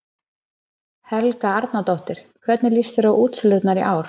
Helga Arnardóttir: Hvernig líst þér á útsölurnar í ár?